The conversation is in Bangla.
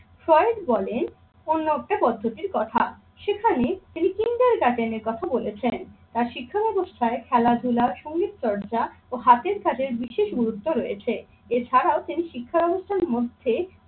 ফয়েজ বলেন অন্য একটা পদ্ধতির কথা, সেখানে তিনি ফিঙ্গার গার্জেন এর কথা বলেছেন। তার শিক্ষা ব্যাবস্থায় খেলাধুলা, সংগীতচর্চা ও হাতের কাজের বিশেষ গুরুত্ব রয়েছে। এছাড়াও তিনি শিক্ষা ব্যবস্থার মধ্যে